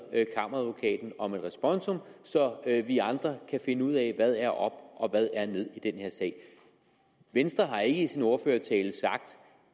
kammeradvokaten om et responsum så vi andre kan finde ud af hvad der er op og ned i den her sag venstre har ikke i sin ordførertale sagt